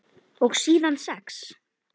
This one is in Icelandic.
Og síðan sex?